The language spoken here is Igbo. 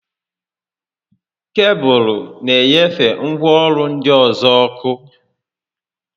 Kebụlụ na enyefe ngwaọrụ ndị ọzọ ọkụ